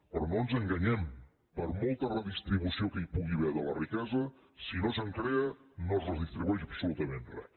però no ens enganyem per molta redistribució que hi pugui haver de la riquesa si no se’n crea no es redistribueix absolutament res